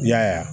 I y'a ye wa